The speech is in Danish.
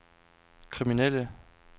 kriminelle